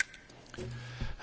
Herr Präsident!